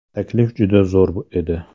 Taklif juda zo‘r edi.